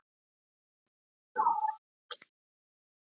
Hann spilaði allan leikinn og fékk góða dóma fyrir frammistöðuna.